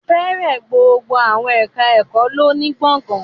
Fẹ́rẹ̀ gbogbo àwọn ẹ̀ká ẹ̀kọ́ lọ ní gbọ̀gán